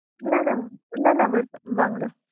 না না না না আমার বাংলা